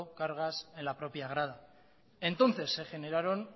cargas en la propia grada entonces se generaron